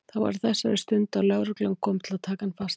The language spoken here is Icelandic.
Það var á þessari stundu að lögreglan kom til að taka hann fastan.